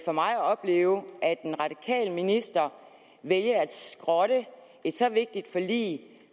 for mig at opleve at den radikale minister vælger at skrotte et så vigtigt forlig